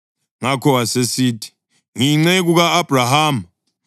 Ngakho wasesithi, “Ngiyinceku ka-Abhrahama.